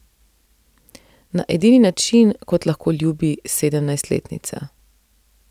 Na edini način, kot lahko ljubi sedemnajstletnica.